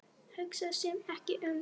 Hugsaði sig ekki um!